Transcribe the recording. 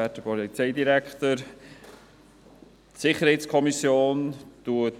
der SiK. Die SiK genehmigt die Jahresrechnung